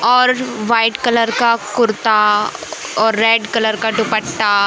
और white colour का कुर्ता और रेड कलर का दुपट्टा--